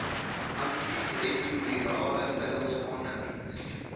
antiretrovirale middels aangebied